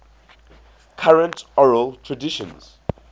current oral traditions